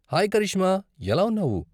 Hi Karishma, ఎలా ఉన్నావు?